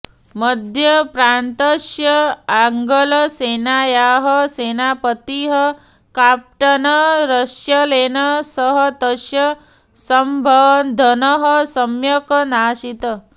मध्यप्रान्तस्य आङ्गलसेनायाः सेनापतिः काँप्टन रर्स्सलेन सह तस्य सम्वन्धः सम्यक नासीत्